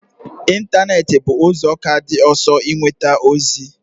Ịntanetị bụ ụzọ ka dị ọsọ inweta ozi